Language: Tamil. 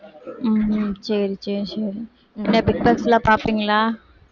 உம் சரி சரி சரி என்ன பிக் பாஸ்லாம் பாப்பீங்களா